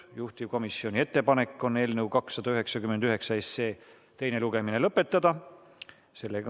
Juhtivkomisjoni ettepanek on eelnõu 299 teine lugemine lõpetada.